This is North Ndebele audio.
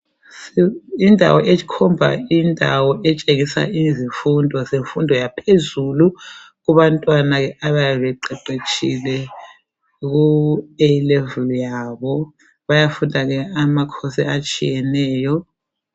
Indawo ekhomba indawo etshengisa izifundo zemfundo yaphezulu kubantwana abayabe beqeqetshile ku A Level yabo bayafunda ke amacourse atshiyeneyo.